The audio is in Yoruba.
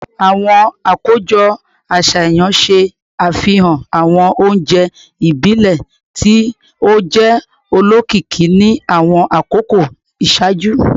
Awọn akojọ aṣayan ṣe afihan awọn ounjẹ ibile ti o jẹ olokiki ni awọn akoko iṣaaju